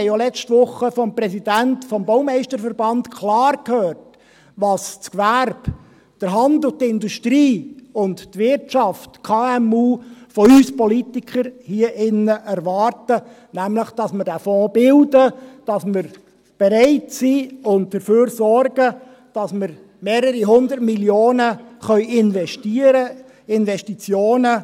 wir haben letzte Woche vom Präsidenten des Kantonal-Bernischen Baumeisterverbands (KBB) auch klar gehört, was das Gewerbe, der Handel, die Industrie und die Wirtschaft, die KMU von uns Politikern hier drinnen erwarten, nämlich, dass wir diesen Fonds bilden, dass wir bereit sind und dafür sorgen, dass wir mehrere 100 Mio. Franken investieren können.